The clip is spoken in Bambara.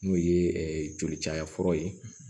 N'o ye joli caya fɔlɔ ye